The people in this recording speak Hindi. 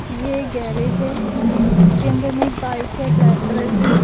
ये एक गैरेज है इसके अंदर में बाइक है ब्लैक कलर की।